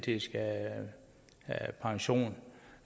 i skal have pension